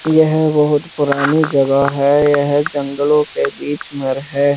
यह बहुत पुरानी जगह है यह जंगलों के बीच में है।